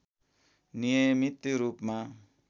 नियमित रूपमा